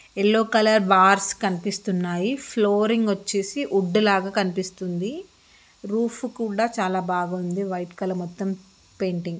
Yellow colour bars కనిపిస్తున్నాయి. Flooring వచ్చేసి wood లాగ కనిపిస్తుంది. రూఫ్ కూడా చాలా బాగుంది వైట్ కలర్ మొత్తం పెయింటింగ్ .